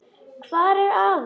Hvar er afi?